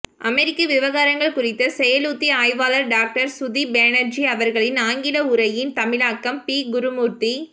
அமெரிக்க விவகாரங்கள் குறித்த செயலுத்தி ஆய்வாளர் டாக்டர் ஸ்துதி பேனர்ஜி அவர்களின் ஆங்கில உரையின் தமிழாக்கம் பி குருமூர்த்தி